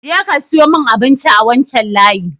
Je ka siyo mun abinci a wancan layi!